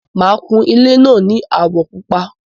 Máa kún ilé náà ní àwọ̀ Pupa